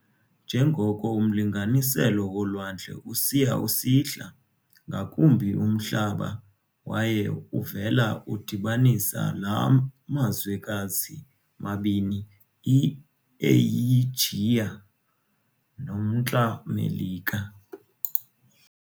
Njengoko umlinganiselo wolwandle usiya usihla ngakumbi umhlaba waye uvela udibanisa la mazwekazi mabini i-Eyijiya nomntla Melika.